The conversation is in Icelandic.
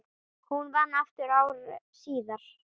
Hún vann aftur ári síðar.